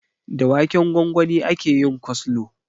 Da waken gwangwani ake yin koslo